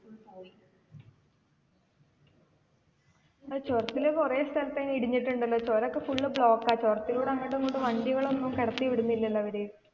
ആ ചുരത്തില് കുറെ സ്ഥലത്ത് ഒക്കെ ഇടിഞ്ഞിട്ടുണ്ടല്ലോ ചുരം ഒക്കെ full block ആ ചുരത്തിലൂടെ അങ്ങോട്ടും ഇങ്ങോട്ടും വണ്ടി ഒന്നും കടത്തി വിടുന്നില്ലലോ അവര്.